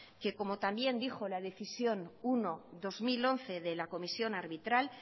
que como también dijo la decisión uno barra dos mil once de la comisión arbitral